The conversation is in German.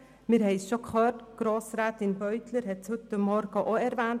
Wir haben es bereits gehört, Grossrätin Beutler hat es heute Morgen erwähnt: